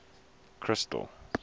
crystal